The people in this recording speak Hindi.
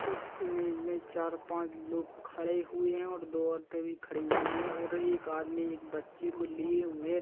इस इमेज में चार पांच लोग खड़े हुए है और दो औरते भी खड़ी हुई है और एक आदमी एक बच्चे को लिए हुए--